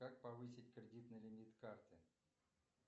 как повысить кредитный лимит карты